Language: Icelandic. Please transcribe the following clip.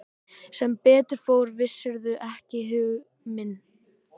Sem betur fór vissirðu ekki hug minn.